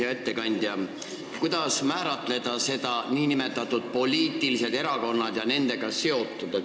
Hea ettekandja, kuidas määratleda nn poliitilisi erakondi ja nendega seotut?